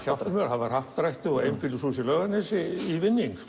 það var happdrætti og einbýlishús í Laugarnesi í vinning